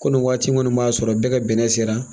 Ko nin waati minnu b'a sɔrɔ bɛɛ ka bɛnɛ sera